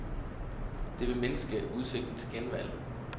Det vil mindske udsigten til genvalg.